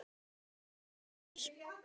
Gefðu allt annað frá þér.